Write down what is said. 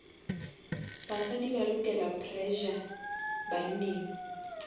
basadi ba lokela pressure banneng